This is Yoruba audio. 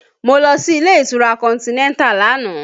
Mo lọ sí ilé ìtura Continental lánàá